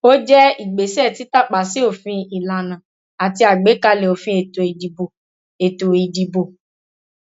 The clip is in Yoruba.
ó jẹ ìgbésẹ títàpá sí òfin ìlànà àti àgbékalẹ òfin ètò ìdìbò ètò ìdìbò